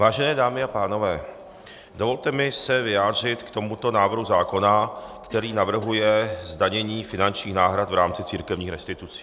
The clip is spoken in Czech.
Vážené dámy a pánové, dovolte mi se vyjádřit k tomuto návrhu zákona, který navrhuje zdanění finančních náhrad v rámci církevních restitucí.